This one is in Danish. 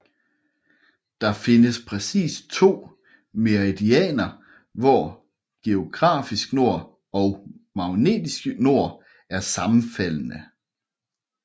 Der findes præcist to meridianer hvor geografisk nord og magnetisk nord er sammenfaldne